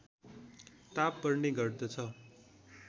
ताप बढ्ने गर्दछ